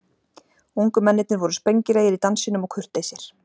Ungu mennirnir voru spengilegir í dansinum og kurteisir.